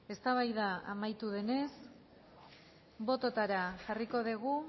eztabaida amaitu denez bototara jarriko dugu